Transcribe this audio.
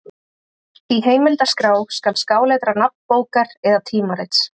Í heimildaskrá skal skáletra nafn bókar eða tímarits.